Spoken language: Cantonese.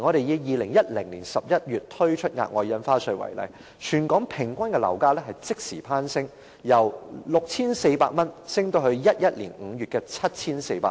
以2010年11月推出額外印花稅為例，全港平均樓價即時攀升，由 6,400 元上升至2011年5月的 7,400 元。